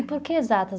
E por que exatas?